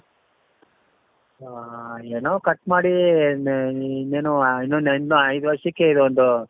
ಆ ಏನೋ cut ಮಾಡಿ ಇನ್ನೇನೋ ಇನ್ನೊಂದು ಐದು ವರ್ಷಕೆ ಇನ್ನೊಂದು.